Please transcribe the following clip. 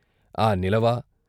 ఆ నిలవ